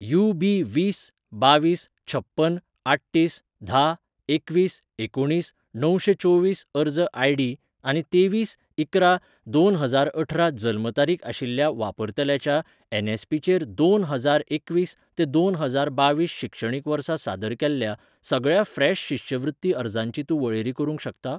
UB. वीस बावीस छप्पन आठतीस धा एकवीस एकुणीस णवशें चोवीस अर्ज आयडी आनी तेवीस इकरा दोन हजारअठरा जल्म तारीख आशिल्ल्या वापरतल्याच्या एन.एस.पी.चेर दोन हजार एकवीस ते दोन हजार बावीस शिक्षणीक वर्सा सादर केल्ल्या सगळ्या फ्रेश शिश्यवृत्ती अर्जांची तूं वळेरी करूंक शकता?